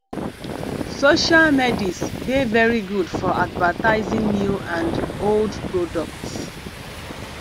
social medis dey very good for advertising new and old products